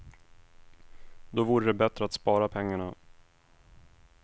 Då vore det bättre att spara pengarna.